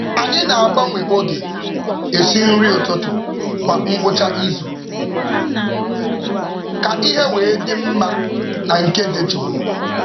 Anyị na-agbanwe oge esi nri ụtụtụ kwa ngwụcha izu ka ihe wee dị mma na nke dị jụụ.